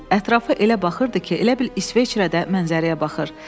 Ətrafı elə baxırdı ki, elə bil İsveçrədə mənzərəyə baxır.